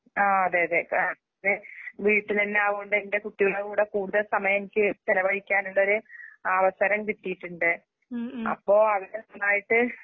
ആഹ് അതെയതെ. വീട്ടിലെന്നാവുണ്ടെന്റെകുട്ടികൾടെകൂടെ കൂടുതൽസമയെനിക്ക് ചെലവഴിക്കാനുള്ളൊര് അവസരംകിട്ടീട്ടുണ്ട്.അപ്പോ അതിൻ്റെഫലായിട്ട്